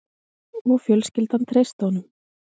Og fjölskyldan treysti honum